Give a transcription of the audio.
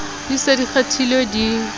di se di kgethilwe di